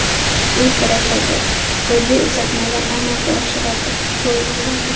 U kurashadi, golli uzatmalar amalga oshiradi, gol uradi.